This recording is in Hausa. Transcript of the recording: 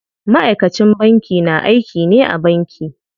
Ma'aikacin banki na aiki ne a banki.